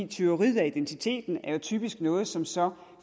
tyveriet af identiteten er jo typisk noget som så